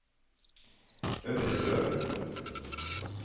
Øvrebø